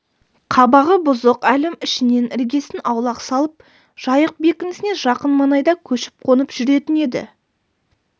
қабағы бұзық әлім ішінен іргесін аулақ салып жайық бекінісіне жақын маңайда көшіп-қонып жүретін еді